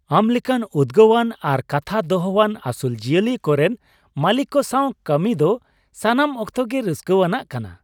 ᱟᱢ ᱞᱮᱠᱟᱱ ᱩᱫᱜᱟᱹᱣᱟᱱ ᱟᱨ ᱠᱟᱛᱷᱟ ᱫᱚᱦᱚᱣᱟᱱ ᱟᱹᱥᱩᱞ ᱡᱤᱭᱟᱹᱞᱤ ᱠᱚᱨᱮᱱ ᱢᱟᱹᱞᱤᱠ ᱠᱚ ᱥᱟᱶ ᱠᱟᱹᱢᱤᱭ ᱫᱚ ᱥᱟᱱᱟᱢ ᱚᱠᱛᱚ ᱜᱮ ᱨᱟᱹᱥᱠᱟᱹᱣᱟᱱᱟᱜ ᱠᱟᱱᱟ ᱾